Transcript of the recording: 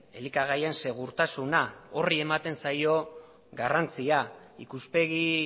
elikagaien segurtasuna horri ematen zaio garrantzia ikuspegi